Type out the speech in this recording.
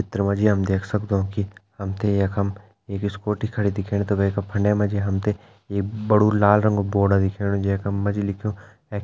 चित्र मा जी हम देख सगदों की हमतें यखम एक स्कूटी खड़ी दिखेण त वैका फंडे मा जी हमतें एक बड़ु लाल रंगा बोर्ड दिखेणु जैका म्मा जी हमतें एक् --